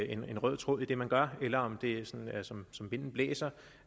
en rød tråd i det man gør eller om det er som er som vinden blæser